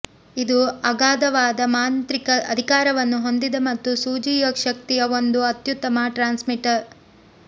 ಇದು ಅಗಾಧವಾದ ಮಾಂತ್ರಿಕ ಅಧಿಕಾರವನ್ನು ಹೊಂದಿದೆ ಮತ್ತು ಸೂಜಿ ಶಕ್ತಿಯ ಒಂದು ಅತ್ಯುತ್ತಮ ಟ್ರಾನ್ಸ್ಮಿಟರ್